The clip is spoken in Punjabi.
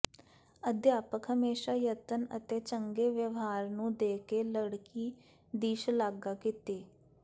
ਅਧਿਆਪਕ ਹਮੇਸ਼ਾ ਯਤਨ ਅਤੇ ਚੰਗੇ ਵਿਵਹਾਰ ਨੂੰ ਦੇ ਕੇ ਲੜਕੀ ਦੀ ਸ਼ਲਾਘਾ ਕੀਤੀ